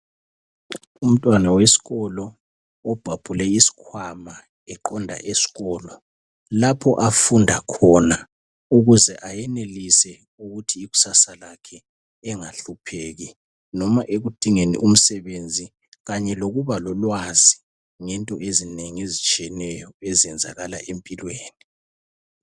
Umntwana wesikolo obhabhule isikhwama eqonda esikolo lapho afunda khona ukuze ayenelise ukuthi ikusasa lakhe engahlupheki noma ekudingeni umsebenzi kumbe ukuba lolwazi ngezinto ezinengi ezenzakala empilweni.